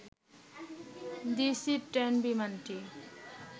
DC ten বিমানটি